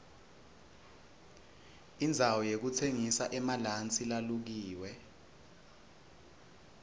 indzawo yokutsengisa emalansi lalukiwe